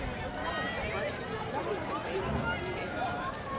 moahlodi wa kgorotsheko ya molaotheo